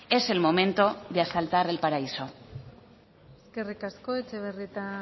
es el momento de asaltar el paraíso eskerrik asko etxebarrieta